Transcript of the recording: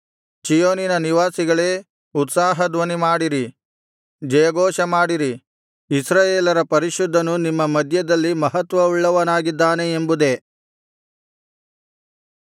ಚೀಯೋನಿನ ನಿವಾಸಿಗಳೇ ಉತ್ಸಾಹ ಧ್ವನಿಮಾಡಿರಿ ಜಯಘೋಷಮಾಡಿರಿ ಇಸ್ರಾಯೇಲರ ಪರಿಶುದ್ಧನು ನಿಮ್ಮ ಮಧ್ಯದಲ್ಲಿ ಮಹತ್ವವುಳ್ಳವನಾಗಿದ್ದಾನೆ ಎಂಬುದೇ